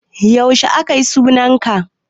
Yaushe akayi sunan sa?